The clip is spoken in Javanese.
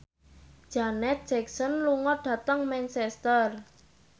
Janet Jackson lunga dhateng Manchester